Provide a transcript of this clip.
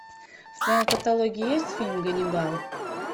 в твоем каталоге есть фильм ганнибал